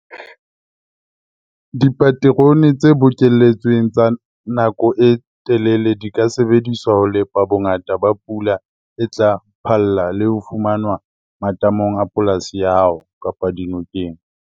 Dipaterone tse bokelletsweng tsa nako e telele di ka sebediswa ho lepa bongata ba pula e tla phalla le ho fumanwa matamong a polasi ya hao kapa dinokeng.